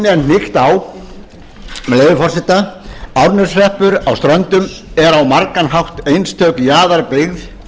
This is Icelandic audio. á með leyfi forseta árneshreppur á ströndum er á margan hátt einstök jaðarbyggð